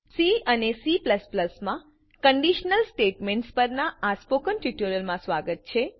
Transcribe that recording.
C અને C માં conditional statements પરનાં સ્પોકન ટ્યુટોરીયલમાં સ્વાગત છે